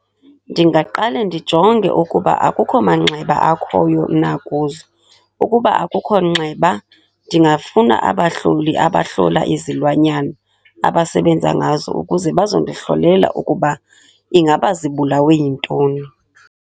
Ndingaqale ndijonge ukuba akukho manxeba akhoyo na kuzo. Ukuba akukho nxeba, ndingafuna abahloli abahlola izilwanyana, abasebenza ngazo ukuze bazondihlolela ukuba ingaba zibulawe yintoni.